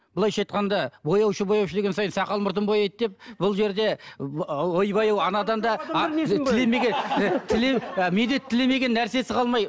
былайша айтқанда бояушы бояушы деген сайын сақал мұртын бояйды деп бұл жерде ойбай ау анадан да медет тілемеген нәрсесі қалмай